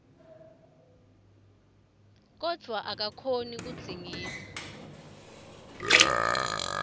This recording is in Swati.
kodvwa akakhoni kudzingidza